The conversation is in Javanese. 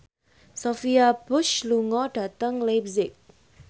Sophia Bush lunga dhateng leipzig